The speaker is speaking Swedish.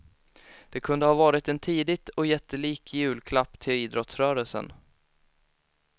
Det kunde har varit en tidigt och jättelik julklapp till idrottsrörelsen.